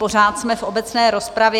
Pořád jsme v obecné rozpravě.